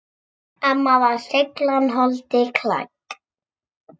Amma var seiglan holdi klædd.